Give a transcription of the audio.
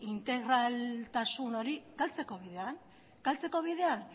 integraltasun hori galtzeko bidean zeren